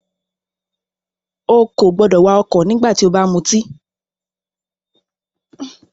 Ó kò gbọdọ̀ wà ọ̀kọ̀ nígbà tí o bá ti mutí!